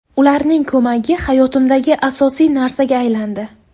Ularning ko‘magi hayotimdagi asosiy narsaga aylandi.